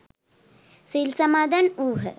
සිල් සමාදන් වුහ.